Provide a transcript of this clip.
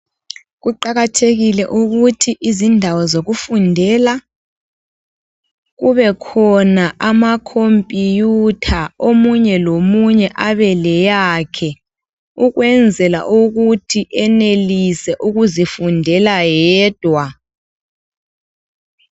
Kuqakathekile ukuthi izindawo zokufundela kubekhona ama khompiyutha omunye lomunye abe leyakhe ukwenzela ukuthi enelise ukuzifundela yedwa.